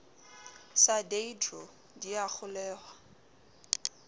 sa deidro di a kgolweha